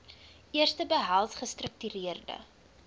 eerste behels gestruktureerde